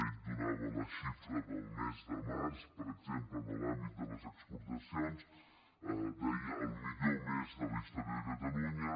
ell donava la xifra del mes de març per exemple en l’àmbit de les exportacions deia el millor mes de la història de catalunya